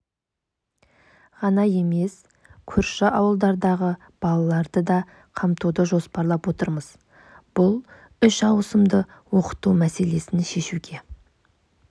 ғана емес көрші ауылдардағы балаларды да қамтуды жоспарлап отырмыз бұл үш ауысымды оқыту мәселесін шешуге